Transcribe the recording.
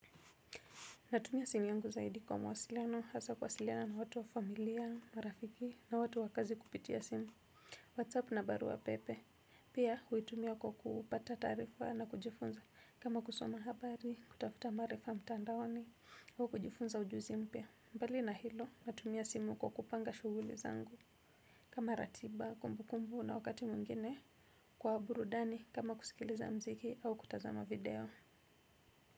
Natumia simu yangu zaidi kwa mawasiliano hasa kuwasiliana na watu wa familia marafiki na watu wa kazi kupitia simu whatsapp na barua na pepe pia hui tumia kwa kupata taarifa na kujifunza kama kusoma habari kutafuta maarifa mtandaoni au kujifunza ujuzi mpya mbali na hilo natumia simu kwa kupanga shughuli zangu kama ratiba kumbukumbu na wakati mwingine kwa burudani kama kusikiliza mziki au kutazama video.